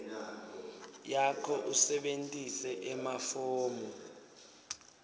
yakho usebentise emafomu